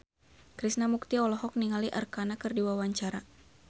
Krishna Mukti olohok ningali Arkarna keur diwawancara